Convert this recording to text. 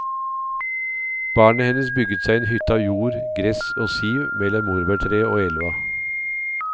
Barnet hennes bygget seg en hytte av jord, gress og siv mellom morbærtreet og elva.